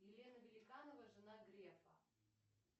елена великанова жена грефа